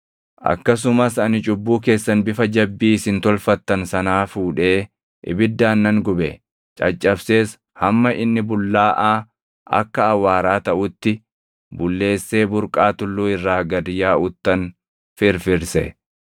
Akkasumas ani cubbuu keessan bifa jabbii isin tolfattan sanaa fuudhee ibiddaan nan gube. Caccabsees hamma inni bullaaʼaa akka awwaaraa taʼutti bulleessee burqaa tulluu irraa gad yaaʼuttan firfirse.